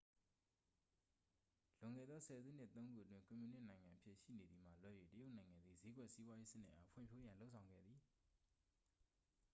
လွန်ခဲ့သော ဆယ်စုနှစ် သုံး ခုအတွင်း ကွန်မြူနစ်နိုင်ငံအဖြစ် ရှိနေသည်မှ လွဲ၍ တရုတ်နိုင်ငံသည် ဈေးကွက်စီးပွားရေးစနစ်အား ဖွံ့ဖြိုးရန် လုပ်ဆောင်ခဲ့သည်